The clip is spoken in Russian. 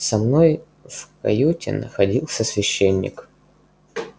со мной в каюте находился священник